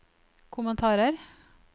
kommentarer